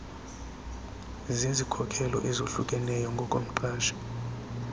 zezikhokelo ezohlukeneyo ngokomqashi